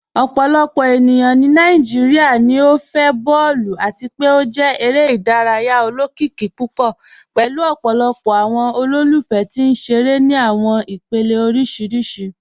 Ọpọlọpọ ènìyàn ni Nàìjíríà níí fẹ̀ bọọ̀lù, àti pe ó jẹ̀ èrè idáràyà ọlọ́kìíkì púpọ̀ pẹ̀lú ọpọlọpọ̀ awọn olólùfẹ̀ tì nṣerẹ̀rẹ̀ ni awọn ìpèlẹ̀ oríṣiríṣì.